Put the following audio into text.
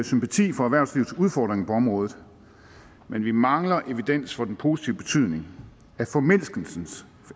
sympati for erhvervslivets udfordringer på området men vi mangler evidens for den positive betydning af formindskelse